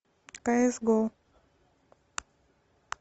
кс го